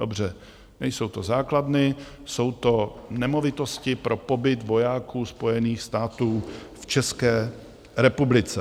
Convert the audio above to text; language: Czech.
Dobře, nejsou to základny, jsou to nemovitosti pro pobyt vojáků Spojených států v České republice.